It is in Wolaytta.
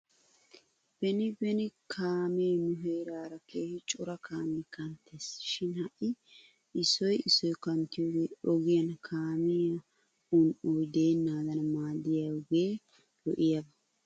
Beni beni kaame nu heeraara keehi cora kaamee kanttes shin ha'i issoy issoy kanttiyoogee ogiyaan kaamiyaa un'oy deenaadan maadiyoogee lo'iyaaba.